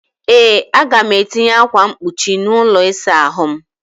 Ee, Aga m etinye ákwà mkpuchi n'ụlọ ịsa ahụ m.